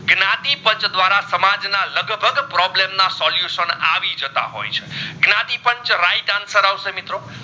જ્ઞાતિ પદ ધ્વારા સમાજ ના લગભગ problem ના solution આવી જતાં હોય છે જ્ઞાતિ પાંચ right answer અવસે મિત્રો